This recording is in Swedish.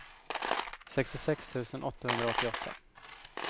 sextiosex tusen åttahundraåttioåtta